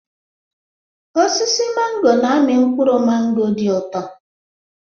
Osisi mangọ na-amị mkpụrụ mangọ dị ụtọ.